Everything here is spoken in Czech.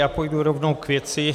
Já půjdu rovnou k věci.